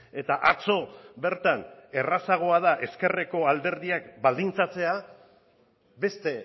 eta atzo bertan errazagoa da ezkerreko alderdiak baldintzatzea beste